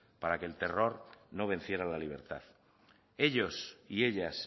para que el terror no venciera a la libertad ellos y ellas